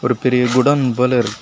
ஒரு பெரிய குடோன் போல இருக்கு.